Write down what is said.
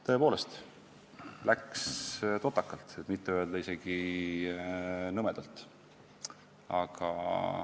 Tõepoolest läks totakalt, kui mitte öelda, et isegi nõmedalt.